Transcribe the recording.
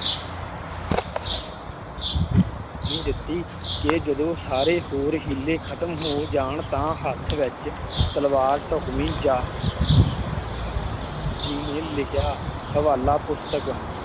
ਕਿ ਜਦੋਂ ਸਾਰੇ ਹੋਰ ਹੀਲੇ ਖਤਮ ਹੋ ਜਾਣ ਤਾਂ ਹੱਥ ਵਿੱਚ ਤਲ਼ਵਾਰ ਢੁਕਵੀ ਜਾ ਜੀ ਨੇ ਲਿਖਿਆ ਹਵਾਲਾ ਪੁਸਤਕ